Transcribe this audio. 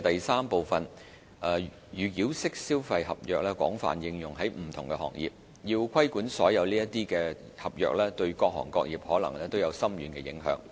三預繳式消費合約廣泛應用於不同行業，要規管所有這類合約，對各行各業可能都有深遠影響。